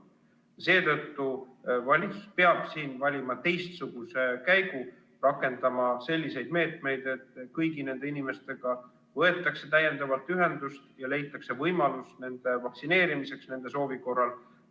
Seetõttu valitsus peab siin valima teistsuguse käigu, rakendama selliseid meetmeid, et kõigi nende inimestega võetakse täiendavalt ühendust ja leitakse võimalus nende vaktsineerimiseks, kui nad seda soovivad.